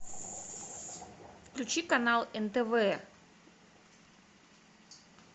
включи канал нтв